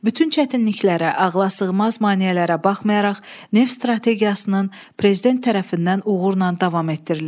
Bütün çətinliklərə, ağla sığmaz maneələrə baxmayaraq, neft strategiyasının prezident tərəfindən uğurla davam etdirilir.